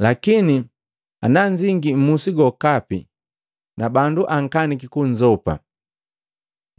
Lakini nanzingi mmusi gokapi na bandu akaniki kunzopa,